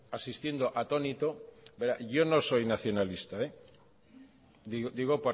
asistiendo atónito verá yo no soy nacionalista digo